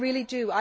I really do.